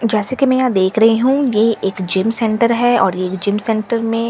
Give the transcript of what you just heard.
जैसे कि मैं यहां देख रही हूं यह एक जीम सेंटर है और यह जीम सेंटर में सभ--